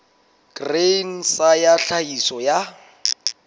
grain sa ya tlhahiso ya